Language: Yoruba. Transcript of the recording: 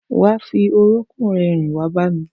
Wà á fi orókún rẹ rìn wá bá mi!